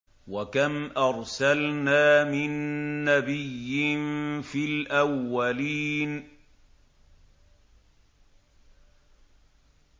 وَكَمْ أَرْسَلْنَا مِن نَّبِيٍّ فِي الْأَوَّلِينَ